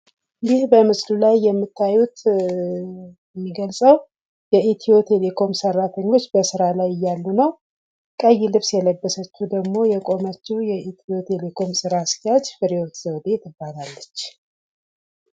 ይህ በምስሉ ላይ የምታዩት የሚገልጸው የኢትዮ ቴሌኮም ሰራተኞች በስራ ላይ እያሉ ነው። ቀይ ልብስ ለብሳ የቆመችው ደግሞ የኢትዮ ቴሌኮም ስራ አስኪያጅ ፍሬ ህይወት ዘውዴ ትባላለች።